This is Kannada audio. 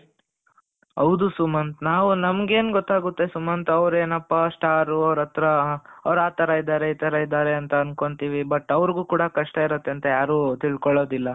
ಹೌದು ಸುಮಂತ್ ನಾವು ನಮಗೇನು ಗೊತ್ತಾಗುತ್ತೆ ಸುಮಂತ ಅವರೇ ಏನಪ್ಪಾ ಸ್ಟಾರ್ ಅವರತ್ರ ಅವರು ಆತರ ಇದ್ದಾರೆ ಇತರ ಇದ್ದಾರೆ ಅಂತ ಅನ್ಕೊಂತೀವಿ but ಅವರಿಗೂ ಕೂಡ ಕಷ್ಟ ಇರುತ್ತೆ ಅಂತ ಯಾರು ತಿಳ್ಕೊಳ್ಳೋದಿಲ್ಲ,